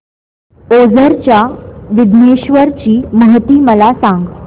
ओझर च्या विघ्नेश्वर ची महती मला सांग